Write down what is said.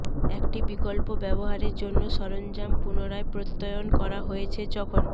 একটি বিকল্প ব্যবহারের জন্য সরঞ্জাম পুনরায় প্রত্যয়ন করা হয়েছে যখন